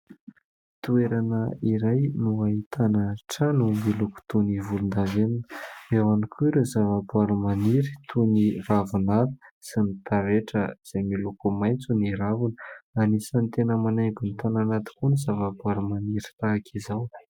Toerana iray no ahitana trano miloko toy ny volondavenona. Eo ihany koa ireo zava-boahary maniry toy ny ravinala sy ny taretra izay miloko maitso ny raviny. Anisany tena manaingo ny tanàna tokoa ny zava-boahary maniry tahaka izao.